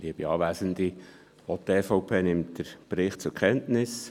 Auch die EVP nimmt den Bericht zur Kenntnis.